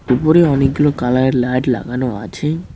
উপরে অনেকগুলো কালারের লাইট লাগানো আছে।